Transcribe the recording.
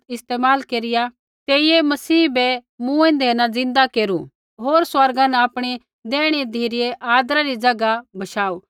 इस्तेमाल केरिया तेइयै मसीह बै मूँएंदै न ज़िन्दा केरु होर स्वर्गा न आपणी दैहिणी धिरै आदरा री ज़ैगा बशाऊ